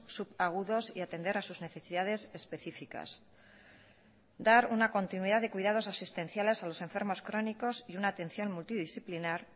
subagudos y atender a sus necesidades específicas dar una continuidad de cuidados asistenciales a los enfermos crónicos y una atención multidisciplinar